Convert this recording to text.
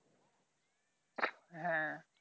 হ্যাঁ